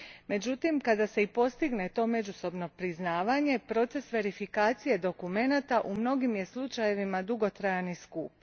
Međutim, kada se i postigne to međusobno priznavanje, proces verifikacije dokumenata u mnogim je slučajevima dugotrajan i skup.